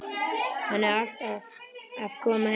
Hann er alltaf að koma heim.